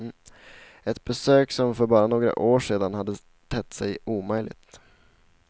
Ett besök som för bara några år sedan hade tett sig omöjligt.